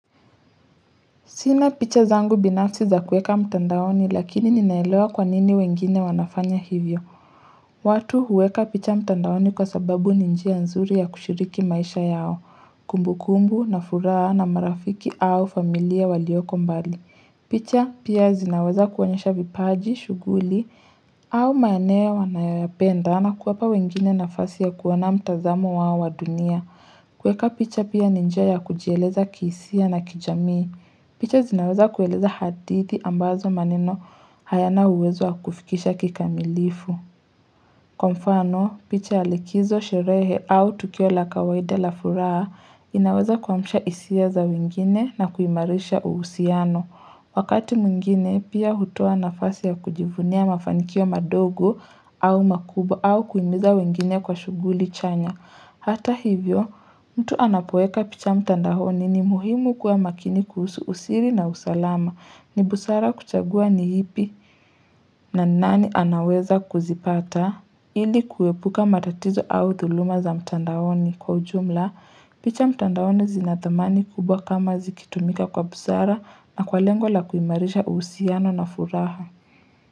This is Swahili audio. Sina picha zangu binafsi za kueka mtandaoni lakini ninaelewa kwanini wengine wanafanya hivyo. Watu huweka picha mtandaoni kwa sababu ni njia nzuri ya kushiriki maisha yao, kumbu kumbu na furaha na marafiki au familia walioko mbali. Picha pia zinaweza kuoanyesha vipaji, shughuli au maeneo wanayoyapenda na kuwapa wengine nafasi ya kuona mtazamo wao wa dunia. Kueka picha pia ni njia ya kujieleza kihisia na kijamii. Picha zinaweza kueleza hadithi ambazo maneno hayana uwezo wa kufikisha kikamilifu. Kwa mfano, picha ya likizo sherehe au tukio la kawaida la furaha inaweza kuamsha hisia za wengine na kuimarisha uhusiano. Wakati mwingine pia hutoa nafasi ya kujivunia mafanikio madogo au makubwa au kuimiza wengine kwa shughuli chanya. Hata hivyo, mtu anapoeka picha mtandaoni ni muhimu kuwa makini kuhusu usiri na usalama ni busara kuchagua ni ipi na nani anaweza kuzipata ili kuepuka matatizo au thuluma za mtandaoni kwa ujumla. Picha mtandaoni zina thamani kubwa kama zikitumika kwa busara na kwa lengo la kuimarisha uhusiano na furaha.